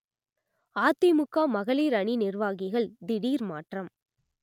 அதிமுக மகளிர் அணி நிர்வாகிகள் திடீர் மாற்றம்